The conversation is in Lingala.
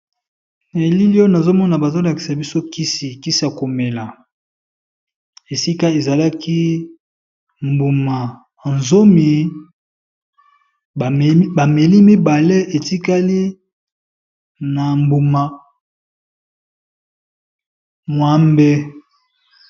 Elili oyo nazomona bazolakisa biso kisi kisa ya komela ,esika ezalaki mbuma zomi bameli mibale etikali na mbuma mwambe.